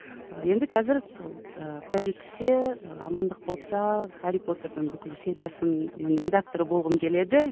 енді қазір сол ы құдай жеткізсе ы амандық болса хәрри потердің бүкіл сериясының редакторы болғым келеді